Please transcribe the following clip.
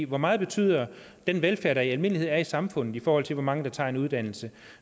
hvor meget betyder den velfærd der i almindelighed er i samfundet i forhold til hvor mange der tager en uddannelse